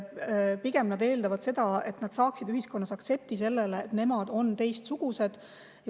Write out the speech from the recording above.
Pigem nad eeldavad seda, et nad saavad ühiskonnas aktsepti sellele, et nemad on teistsugused.